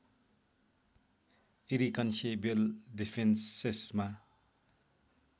irreconcilable डिफ्रेन्सेसमा